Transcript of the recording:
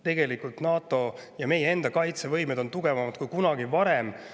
Tegelikult on NATO ja meie enda kaitsevõime tugevam kui kunagi varem.